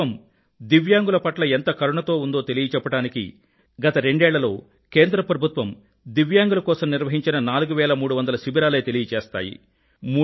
ప్రభుత్వం దివ్యాంగుల పట్ల ఎంత కరుణతో ఉందో తెలియచెప్పడానికి గత రెండేళ్ళలో కేంద్ర ప్రభుత్వం దివ్యాంగుల కోసం నిర్వహించిన 4350 శిబిరాలే తెలియజేస్తాయి